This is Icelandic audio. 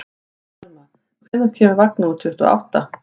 Axelma, hvenær kemur vagn númer tuttugu og átta?